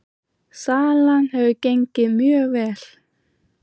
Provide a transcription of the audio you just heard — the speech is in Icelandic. Salan hefur gengið mjög vel